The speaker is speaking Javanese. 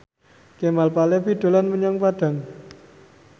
Kemal Palevi dolan menyang Padang